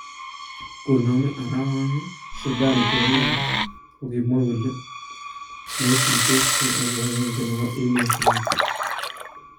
Koname arawanii Sudan cheroonko kokinwaa kole maituitoskei ak kipagenge nebo emotinweek